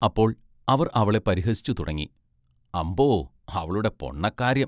അപ്പോൾ അവർ അവളെ പരിഹസിച്ചു തുടങ്ങി, അമ്പൊ അവളുടെ പൊണ്ണകാര്യം.